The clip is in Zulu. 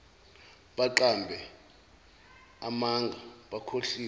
baqambe amanga bakhohlise